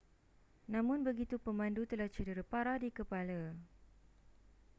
namun begitu pemandu telah cedera parah di kepala